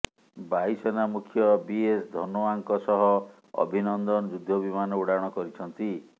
ବାୟୁସେନା ମୁଖ୍ୟ ବିଏସ୍ ଧନୋଆଙ୍କ ସହ ଅଭିନନ୍ଦନ ଯୁଦ୍ଧ ବିମାନ ଉଡ଼ାଣ କରିଛନ୍ତି